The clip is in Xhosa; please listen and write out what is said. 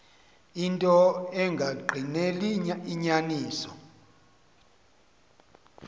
into engagqineli inyaniso